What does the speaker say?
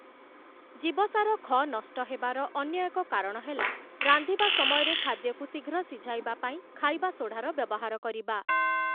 ଜୀବସାର 'ଖ' ନଷ୍ଟହେବାର ଅନ୍ୟ ଏକ କାରଣ ହେଲା ରାନ୍ଧିବା ସମୟରେ ଖାଦ୍ୟକୁ ଶିଘ୍ର ସିଝାଇବା ପାଇଁ ଖାଇବା ସୋଢ଼ାର ବ୍ୟବହାର କରିବା ।